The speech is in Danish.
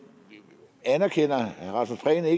anerkender at